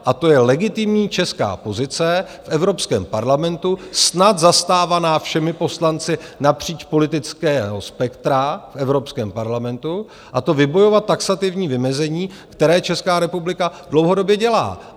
A to je legitimní česká pozice v Evropském parlamentu, snad zastávaná všemi poslanci napříč politickým spektrem v Evropském parlamentu, a to vybojovat taxativní vymezení, které Česká republika dlouhodobě dělá.